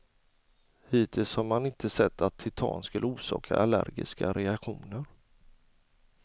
Hittills har man inte sett att titan skulle orsaka allergiska reaktioner.